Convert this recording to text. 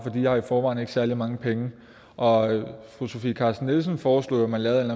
har i forvejen ikke særlige mange penge og fru sofie carsten nielsen foreslog jo at man lavede en